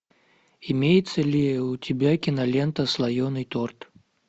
имеется ли у тебя кинолента слоенный торт